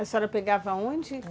A senhora pegava aonde?